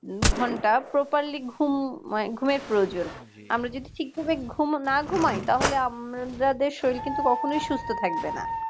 ঘন্টা properly ঘুম~ঘুমের প্রয়োজন আমরা যদি ঠিকভাবে না ঘুমায় তাহলে আমাদের শরীর কিন্তু কখনোই সুস্থ থাকবে না